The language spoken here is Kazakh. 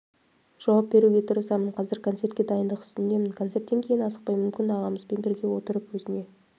жауап беруге тырысамын қазір концертке дайындық үстіндемін концерттен кейін асықпай мүмкін ағамызбен бірге отырып өзіне